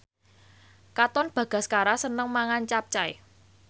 Katon Bagaskara seneng mangan capcay